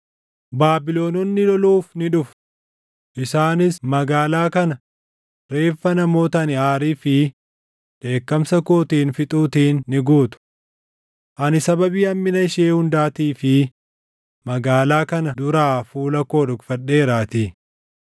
Baabilononni loluuf ni dhufu; ‘Isaanis magaalaa kana reeffa namoota ani aarii fi dheekkamsa kootiin fixuutiin ni guutu. Ani sababii hammina ishee hundaatii fi magaalaa kana duraa fuula koo dhokfadheeraatii.